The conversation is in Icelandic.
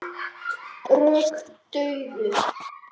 Slík rök dugðu.